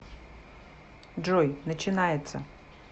джой начинается